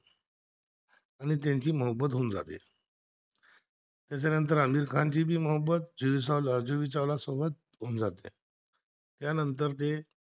त्याच्यानंतर अमीर खान ची भी मोहब्बत, जुई चावला सोबत होऊन जाते